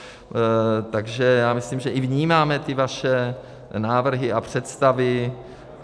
Takže já myslím, že i vnímáme ty vaše návrhy a představy.